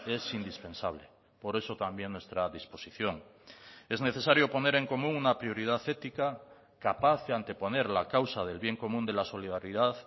es indispensable por eso también nuestra disposición es necesario poner en común una prioridad ética capaz de anteponer la causa del bien común de la solidaridad